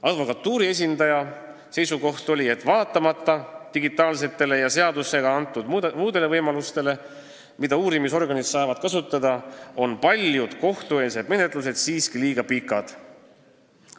Advokatuuri esindaja seisukoht oli, et vaatamata digitaalsetele vahenditele, mida uurimisorganid saavad kasutada, ja muudele seadusega antud võimalustele on paljud kohtueelsed menetlused siiski liiga pikad.